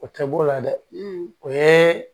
O tɛ boo la dɛ o ye